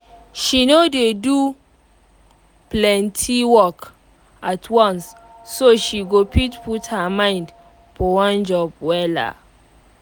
she no dey do plenty work at once so she go fit put her mind for one job wella